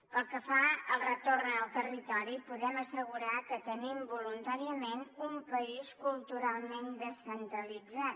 pel que fa al retorn al territori podem assegurar que tenim voluntàriament un país culturalment descentralitzat